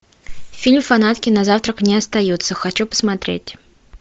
фильм фанатки на завтрак не остаются хочу посмотреть